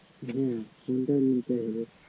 হ্যা phone তো নিতেই হবে